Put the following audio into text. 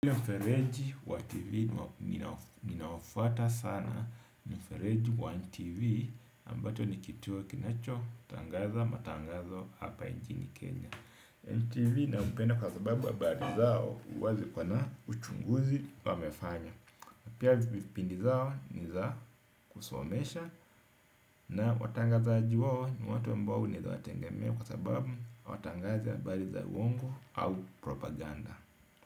Ile mfereji wa kilimo ninaofuata sana mfereji wa NTV ambacho nikituo kinacho tangaza matangazo hapa nchini Kenya NTV na upenda kwa sababu habari zao huwa ziko na uchunguzi wamefanya. Pia vipindi zao ni za kusomesha na watangazaji wao ni watu ambao unaweza watengemea kwa sababu hawatangazi habari za uongo au propaganda.